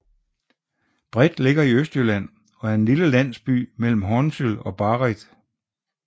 Breth ligger i Østjylland og er en lille landsby mellem Hornsyld og Barrit